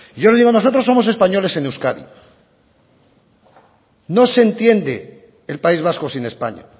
yo le digo nosotros somos españoles en euskadi no se entiende el país vasco sin españa